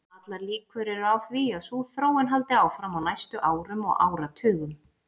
Allar líkur eru á því að sú þróun haldi áfram á næstu árum og áratugum.